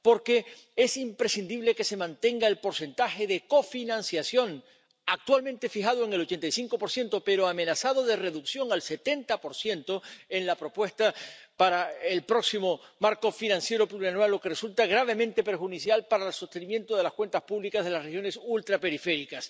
Porque es imprescindible que se mantenga el porcentaje de cofinanciación, actualmente fijado en el 85 pero amenazado de reducción al 70 en la propuesta para el próximo marco financiero plurianual, lo que resulta gravemente perjudicial para el sostenimiento de las cuentas públicas de las regiones ultraperiféricas.